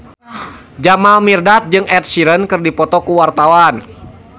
Jamal Mirdad jeung Ed Sheeran keur dipoto ku wartawan